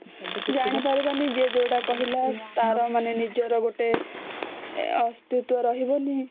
ଜାଣି ପାରିବନି ଯେ ଯୋଉଟା କହିଲା ତାର ନିଜର ମାନେ ନିଜର ଗୋଟେ ଅସ୍ତିତ୍ବ ରହିବନି